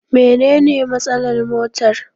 Mene ne matsalar motar?